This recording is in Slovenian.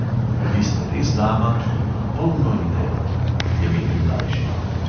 "Vi ste res dama, ki ima polno idej," je menil mlajši.